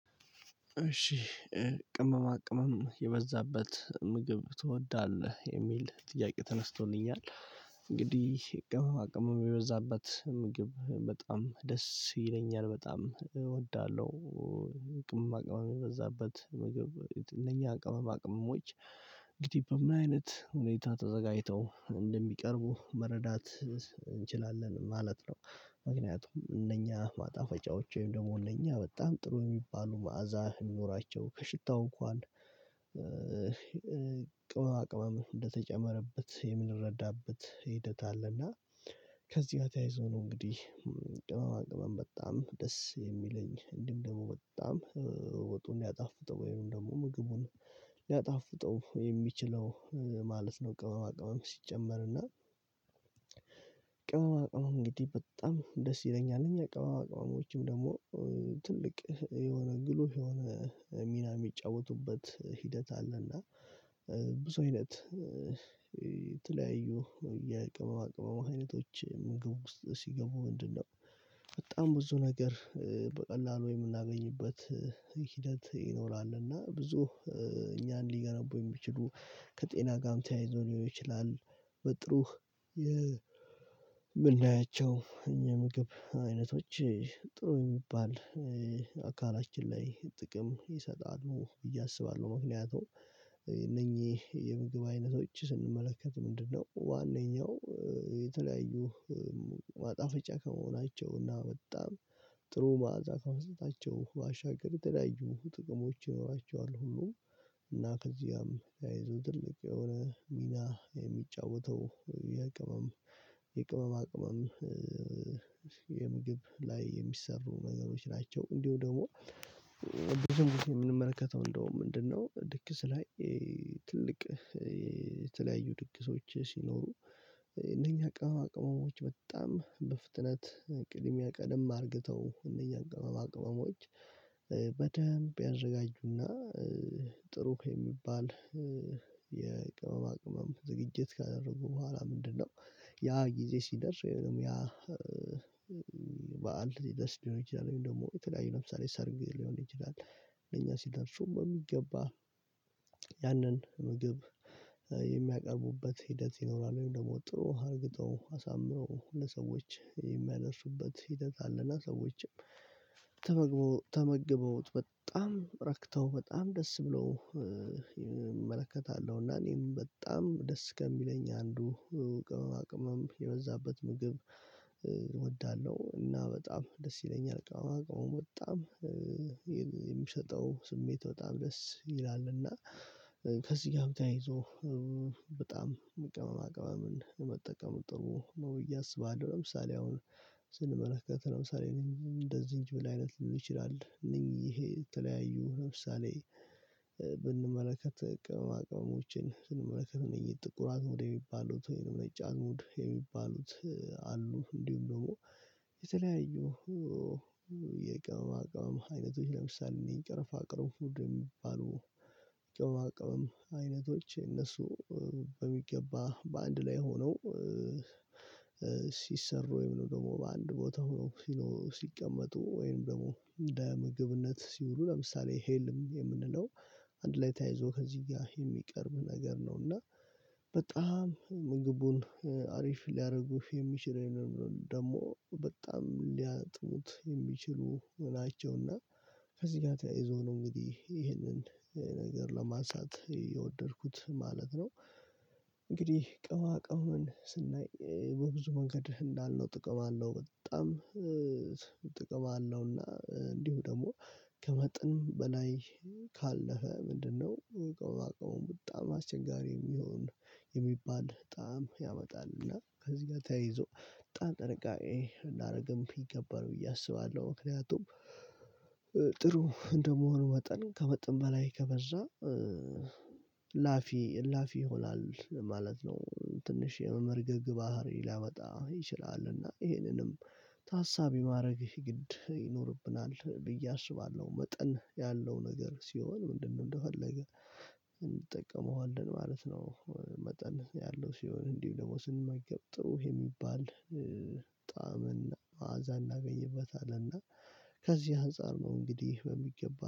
እሺ ቅመማ ቅመም የበዛበት ምግብ ትወዳለህ የሚል ጥያቄ ተነስቶልኛል እንግዲህ ቅመማ ቅመም የበዛባት ምግብ በጣም ደስ ይለኛል በጣም እወዳለሁ። ቅመማ ቅመም የበዛበት ምግብ እነኛ ቅመማ ቅመሞች እንግዲ በምን አይነት ሁኔታ ተዘጋጅተው እንደሚቀርቡ መረዳት እንችላለን ማለት ነው። ምክንያቱም እነኛ ማጣፈጫዎች ወይም ደግሞ እነኛ በጣም ጥሩ የሚባሉ መዓዛ እሚኖራቸው ከሽታው እንኳን ቅመማ ቅመም እንደተጨመረበት የምንረዳበት ሂደት አለና ከዚህ ተያይዞ ነው እንግዲህ። ቅመማ ቅመም በጣም ደስ የሚለኝ እንዲህም ደግሞ በጣም ወጡን ሊያጣፍጠው ወይም ደግሞ ምግቡን ሊያጣፍጠው የሚችለው ማለት ነው። ቅመማ ቅመም ሲጨመር እና ቅመማ ቅመም እንግዲህ በጣም ደስ ይለኛል እነኛ ቅመማ ቅመሞችም ደግሞ ትልቅ የሆነ ጉልህ የሆነ ሚና የሚጫወቱበት ሂደት አለና። ብዙ አይነት ተለያዩ የቅመማ ቅመማ አይነቶች ምግብ ዉስጥ ሲገቡ ምንድን ነው? በጣም ብዙ ነገር በቀላሉ የምናገኝበት ሂደት ይኖራል እና ብዙ እኛን ሊገነቡ የሚችሉ ከጤና ጋርም ተያይዞ ሊሆን ይችላል። በጥሩ የምናያቸው እነኚ ምግብ አይነቶች ጥሩ የሚባል አካላችን ላይ ጥቅም ይሰጣሉ ብዬ አስባለሁ። ምክንያቱም እነኚህ የምግብ አይነቶች ስንመለከት ምንድነው ዋናኛው የተለያዩ ማጣፈጫ ከመሆናቸውና በጣም ጥሩ ማዕዛ ከመስጠታቸው ባሻገር የተለያዩ ጥቅሞች ይኖራቸዋል። ሁሉም እና ከዚያም ተያይዘው ትልቅ የሆነ ሚና የሚጫወተው የቅመም የቅመማ ቅመም የምግብ ላይ የሚሰሩ ነገሮች ናቸው። እንዲሁ ደግሞ ብዙ ጊዜ እምንመለከተው እንደውም ምንድነው ድግስ ላይ ትልቅ የተለያዩ ድግሶች ሲኖሩ እነኛ ቅመማ ቅመሞች በጣም በፍጥነት ቅድሚያ ቀደም አርግተው እነኛ ቅመማ ቅመሞች በደንብ ያዘጋጁና ጥሩ የሚባል የቅመማ ቅመም ዝግጅት ካደረጉ በኋላ ምንድነው? ያ ጊዜ ሲደርስ ወይም ያ በዓል ሲደርስ ሊሆን ይችላል ወይም ደግሞ የተለያዩ ለምሳሌ ሰርግ ሊሆን ይችላል። እኛ ሲደርሱ በሚገባ ያንን ምግብ የሚያቀርቡበት ሂደት ይኖራል ወይም ደግሞ ጥሩ አርግተው አሳምረው ለሰዎች የሚያደርሱበት ሂደት አለና ሰዎችም ተመግበውት በጣም ረክተው በጣም ደስ ብለው እመለከታለሁና። እና እኔም በጣም ደስ ከሚለኝ አንዱ ቅመማ ቅመም የበዛበት ምግብ እወዳለሁ እና በጣም ደስ ይለኛል። ቀመማ ቅመሙን በጣም የሚሸጠው ስሜት በጣም ደስ ይላልና ከዚህ ጋር ተያይዞ በጣም ቅመማ ቅመምን መጠቀም ጥሩ ነው። ብዬ አስባለሁ ለምሳሌ አሁን ስንመለከት ለምሳሌ እንደ ዝንጅብል አይነት ሊሆን ይችላል። እነዚህ የተለያዩ ለምሳሌ ብንመለከት ቅመማ ቅመሞችን ስንመለከት እነዚህ ጥቁር አዝሙድ የሚባሉት ወይም ነጭ አዝሙድ የሚባሉት አሉ። እንዲሁም ደግሞ የተለያዩ የቅመማ ቅመም አይነቶች ለምሳሌ እኔ ቀረፋ ቅርንፉድ የሚባሉ ቅመማ ቅመም አይነቶች እነሱ በሚገባ በአንድ ላይ ሆነው ሲሰሩ ወይም ደግሞ በአንድ ቦታ ሆኖ ሲቀመጡ ወይም ደግሞ እንደ ምግብነት ሲውሉ ለምሳሌ ሄልም የምንለው አንድ ላይ ተያይዞ ከዚህ ጋር የሚቀርብ ነገር ነው። እና በጣም ምግቡን አሪፍ ሊያደርጉ የሚችል ነው። ደግሞ በጣም ሊያጥቡት የሚችሉ ናቸውና ከዚህ ጋር ተያይዞ ነው እንግዲህ ይሄንን ነገር ለማንሳት የወደድኩት ማለት ነው። እንግዲህ ቅመማ ቅመምን ስናይ በብዙ መንገድ እንዳልነው ጥቅም አለው በጣም ጥቅም አለውና። እንዲሁ ደግሞ ከመጠን በላይ ካለፈ ምንድነው ቅመማ ቅመሙ በጣም አስቸጋሪ የሚሆን የሚባል ጣዕም ያመጣል። እና ከዚህ ጋር ተያይዞ በጣም ጥንቃቄ እናደርግም ይገባል ብዬ አስባለሁ ምክንያቱም ጥሩ እንደመሆኑ ወጠን ከመጠን በላይ ከበዛ እላፊ እላፊ ይሆናል ማለት ነው። ትንሽ የመመርገግ ባህሪ ሊያመጣ ይችላልና ይሄንንም ታሳቢ ማድረግ ግድ ይኖርብናል ብዬ አስባለሁ። መጠን ያለው ነገር ሲሆን ምንድነው እንደፈገ እንጠቀመዋለን ማለት ነው። መጠን ያለው ሲሆን እንዲሁ ደግሞ ስንመገብ ጥሩ የሚባል ጣዕምና ማአዛ እናገኝበታለን። እና ከዚህ አንፃር ነው እንግዲህ በሚገባ